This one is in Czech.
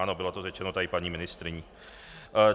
Ano, bylo to řečeno tady paní ministryní.